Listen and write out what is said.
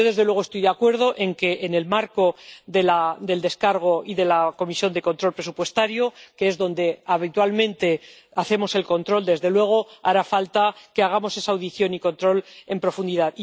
Yo, desde luego, estoy de acuerdo en que, en el marco de la aprobación de la gestión y de la Comisión de Control Presupuestario, que es donde habitualmente hacemos el control, desde luego hará falta que hagamos esa audiencia y ese control en profundidad.